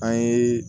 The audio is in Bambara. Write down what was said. An ye